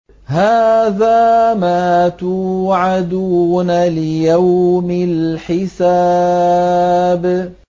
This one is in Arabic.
هَٰذَا مَا تُوعَدُونَ لِيَوْمِ الْحِسَابِ